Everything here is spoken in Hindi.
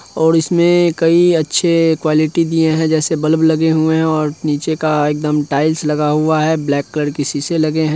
और इसमें कई अच्छे क्वालिटी दिए है जैसे बल्ब लगे हुए है और नीचे का एक दम टाईल्स लगा हुआ है ब्लेक कलर शीशे लगे है।